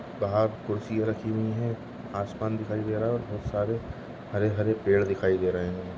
बाहर कुर्सिया रखी हुई है आसमान दिखाई दे रहा और बहुत सारे हरे-हरे पेड़ दिखाई दे रहे है।